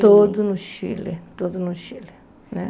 Tudo no Chile, tudo no Chile né.